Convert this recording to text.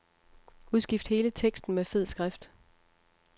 Udskift hele teksten med fed skrift.